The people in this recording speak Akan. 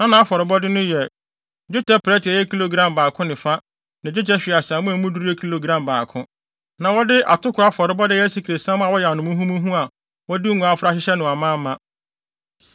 Na nʼafɔrebɔde no yɛ: dwetɛ prɛte a ɛyɛ kilogram baako ne fa ne dwetɛ hweaseammɔ a emu duru yɛ kilogram baako. Na wɔde atoko afɔrebɔde a ɛyɛ asikresiam a wɔayam no muhumuhu a wɔde ngo afra ahyehyɛ no amaama;